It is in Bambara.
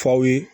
F'aw ye